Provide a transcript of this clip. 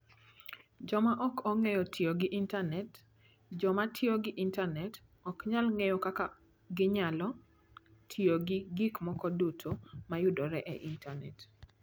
Joma ok ong'eyo tiyo gi Intanet: Joma tiyo gi Intanet ok nyal ng'eyo kaka ginyalo tiyo gi gik moko duto ma yudore e Intanet.